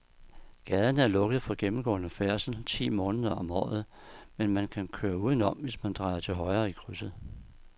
Gaden er lukket for gennemgående færdsel ti måneder om året, men man kan køre udenom, hvis man drejer til højre i krydset.